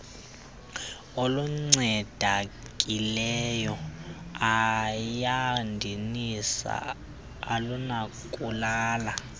olucandekileyo ayadinisa olunokulala